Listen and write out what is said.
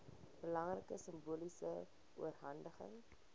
belangrike simboliese oorhandiging